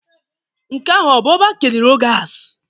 Nke ahụ ọ bụ ọba Kenny Rogers?